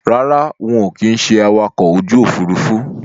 Rárá, ń ó kin ṣé awakọ̀ ojú Òfurufú